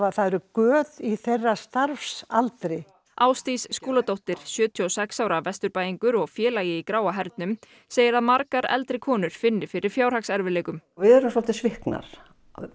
það eru göt í þeirra starfsaldri Ásdís Skúladóttir sjötíu og sex ára Vesturbæingur og félagi í gráa hernum segir að margar eldri konur finni fyrir fjárhagserfiðleikum við erum svolítið sviknar